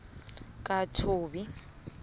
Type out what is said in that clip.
kathobi